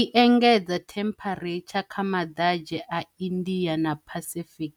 I engedza themparetsha kha maḓadzhe a India na Pacific,